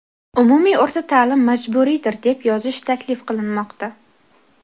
"umumiy o‘rta ta’lim majburiydir" deb yozish taklif qilinmoqda.